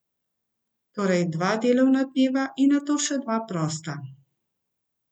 Torej dva delovna dneva in nato dva prosta.